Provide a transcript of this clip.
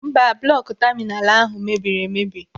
Mba, bụlọkụ taminalu ahụ mebiri emebi.